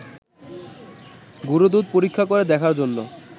গুঁড়োদুধ পরীক্ষা করে দেখার জন্য